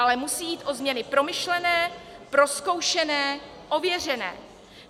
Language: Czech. Ale musí jít o změny promyšlené, prozkoušené, ověřené.